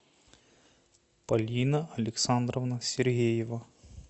полина александровна сергеева